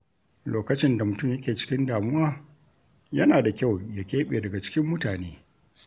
Lokacin da mutum yake cikin damuwa, yana da kyau ya keɓe daga cikin mutane.